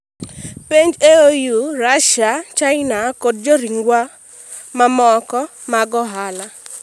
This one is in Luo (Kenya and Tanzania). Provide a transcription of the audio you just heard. Penj EU, Russia, China kod joriwruogwa mamoko mag ohala